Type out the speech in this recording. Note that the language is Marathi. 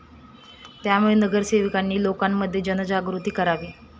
त्यामुळे नगरसेवकांनी लोकांमध्ये जनजागृती करावी.